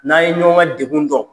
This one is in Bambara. N'a ye ɲɔgɔn ka degun dɔn.